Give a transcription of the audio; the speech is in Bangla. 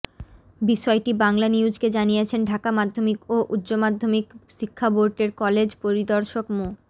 বিষয়টি বাংলানিউজকে জানিয়েছেন ঢাকা মাধ্যমিক ও উচ্চ মাধ্যমিক শিক্ষা বোর্ডের কলেজ পরিদর্শক মো